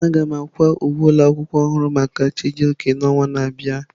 Aga m akwa uwe ụlọ akwụkwọ ọhụrụ maka Chijioke n'ọnwa na-abịa.